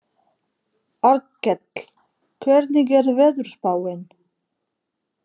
Arnkell, hvernig er veðurspáin?